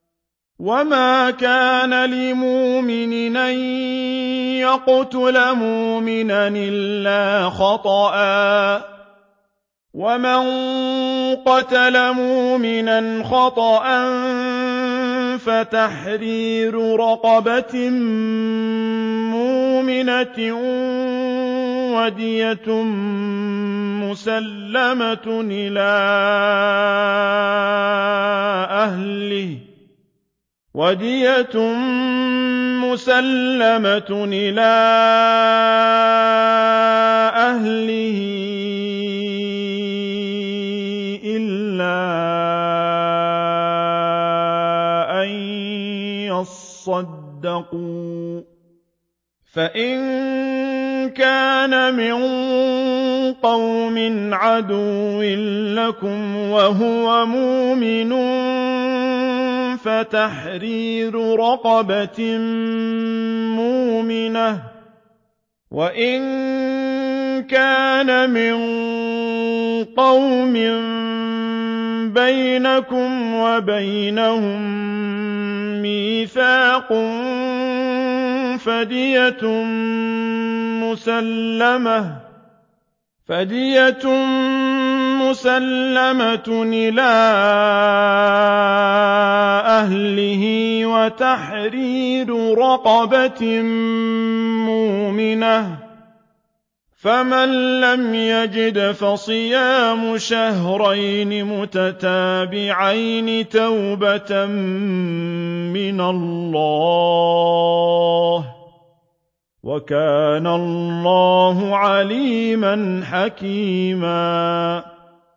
وَمَا كَانَ لِمُؤْمِنٍ أَن يَقْتُلَ مُؤْمِنًا إِلَّا خَطَأً ۚ وَمَن قَتَلَ مُؤْمِنًا خَطَأً فَتَحْرِيرُ رَقَبَةٍ مُّؤْمِنَةٍ وَدِيَةٌ مُّسَلَّمَةٌ إِلَىٰ أَهْلِهِ إِلَّا أَن يَصَّدَّقُوا ۚ فَإِن كَانَ مِن قَوْمٍ عَدُوٍّ لَّكُمْ وَهُوَ مُؤْمِنٌ فَتَحْرِيرُ رَقَبَةٍ مُّؤْمِنَةٍ ۖ وَإِن كَانَ مِن قَوْمٍ بَيْنَكُمْ وَبَيْنَهُم مِّيثَاقٌ فَدِيَةٌ مُّسَلَّمَةٌ إِلَىٰ أَهْلِهِ وَتَحْرِيرُ رَقَبَةٍ مُّؤْمِنَةٍ ۖ فَمَن لَّمْ يَجِدْ فَصِيَامُ شَهْرَيْنِ مُتَتَابِعَيْنِ تَوْبَةً مِّنَ اللَّهِ ۗ وَكَانَ اللَّهُ عَلِيمًا حَكِيمًا